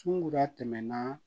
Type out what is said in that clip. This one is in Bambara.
Sunkuruda tɛmɛna